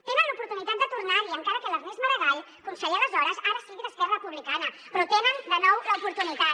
tenen l’oportunitat de tornar hi encara que l’ernest maragall conseller aleshores ara sigui d’esquerra republicana però en tenen de nou l’oportunitat